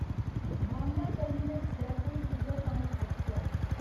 Bandra terminus Jaipur superfast express